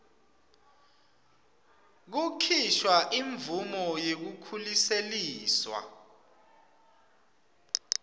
kukhishwa imvumo yekukhuseliswa